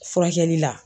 Furakɛli la